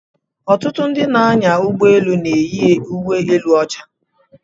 Ọtụtụ ndị na-anya ụgbọ elu na-eyi uwe elu ọcha.